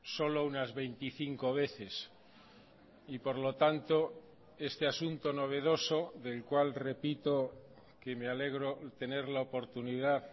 solo unas veinticinco veces y por lo tanto este asunto novedoso del cual repito que me alegro tener la oportunidad